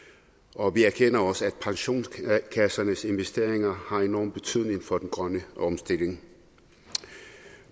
og vi erkender også at pensionskassernes investeringer har enorm betydning for den grønne omstilling